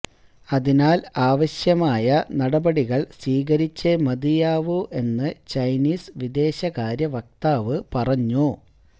അതിനാൽ ആവശ്യമായ നടപടികൾ സ്വീകരിച്ചേ മതിയാവൂ എന്ന് ചൈനീസ് വിദേശകാര്യ വക്താവ് പറഞ്ഞു